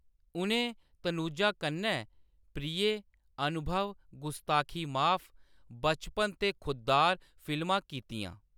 उʼनें तनुजा कन्नै प्रिय, अनुभव, गुस्ताखी माफ, बचपन ते खुद्दार फिल्मां कीतियां।